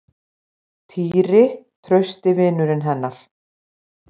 Týri, trausti vinurinn hennar.